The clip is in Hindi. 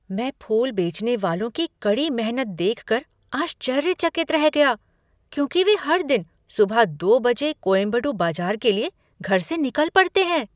मैं फूल बेचने वालों की कड़ी मेहनत देखकर आश्चर्य चकित रह गया क्योंकि वे हर दिन सुबह दो बजे कोयम्बेडु बाजार के लिए घर से निकल पड़ते हैं।